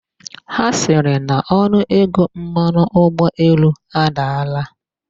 Ha sịrị na onuego mmanụ ụgbọelu adaala?